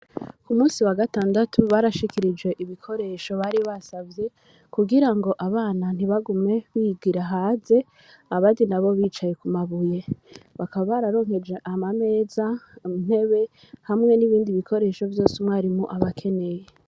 ku musi wa gatandatu barashikirije ibikoresho bari basavye kugirango abana ntibagume bigira hanze abandi nabo bicaye ku mabuye bakaba bararonkeje ama meza intebe hamwe n'ibindi bikoresho vyose umwarimu aba akeneye.